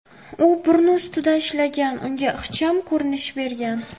U burni ustida ishlagan, unga ixcham ko‘rinish bergan.